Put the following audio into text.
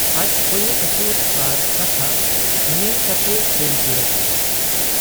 ᱟᱡ ᱠᱚᱭᱚᱜ ᱟᱹᱪᱩᱨ ᱟᱨ ᱠᱟᱛᱷᱟᱜ ᱧᱮᱞ ᱠᱟᱴᱮ ᱥᱮᱱ ᱥᱩᱨ ᱟᱠᱟᱱᱟᱭ ᱾